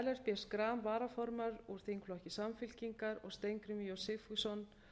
ellert b schram varaformaður úr þingflokki samfylkingar og steingrímur j sigfússon